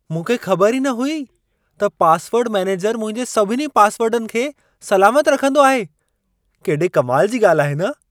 मूंखे ख़बर ई न हुई त पासवर्ड मैनेजरु मुंहिंजे सभिनी पासवर्डनि खे सलामत रखंदो आहे। केॾे कमाल जी ॻाल्हि आहे न!